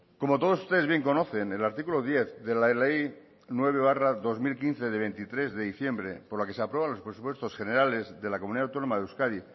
como todos ustedes bien conocen el artículo diez de la ley nueve barra dos mil quince de veintitrés de diciembre por la que se aprueban los presupuestos generales de la comunidad autónoma de euskadi